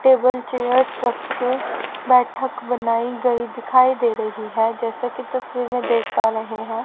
Table chair structure बैठक बनाई गई दिखाई दे रही है जैसे की तस्वीर में देख पा रहे हैं।